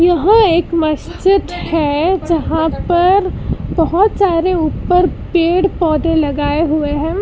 यहां एक मस्जिद है जहां पर बहोत सारे ऊपर पेड़ पौधे लगाए हुए हैं।